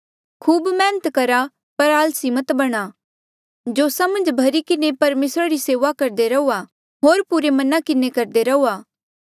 खूब मेहनत करहा पर आलसी मत बणा जोसा मन्झ भर्ही किन्हें परमेसरा री सेऊआ करदे रहुआ होर पुरे मना किन्हें करदे रहुआ